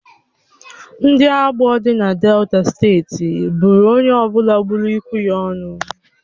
Ndị Agbor dị na Delta steeti buru onye ọ bụla gburu ikwụ ya ọnụ.